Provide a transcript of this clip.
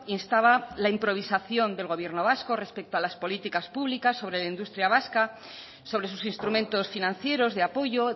instaba la improvisación del gobierno vasco respecto a las políticas públicas sobre la industria vasca sobre sus instrumentos financieros de apoyo